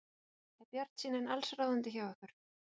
Er bjartsýnin allsráðandi hjá ykkur?